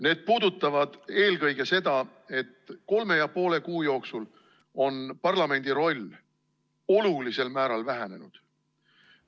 Need puudutavad eelkõige seda, et kolme ja poole kuu jooksul on parlamendi roll olulisel määral vähenenud.